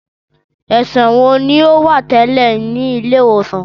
Ẹṣọ wo ni o wa tẹlẹ ni ile-iwosan?